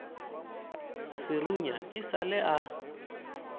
serunya e sa le a